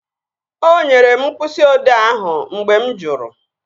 O nyere m mkpịsị odee ahụ mgbe mụ jụrụ